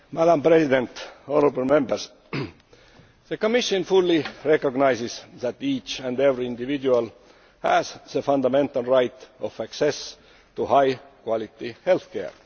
Madam President, the Commission fully recognises that each and every individual has the fundamental right of access to high quality healthcare.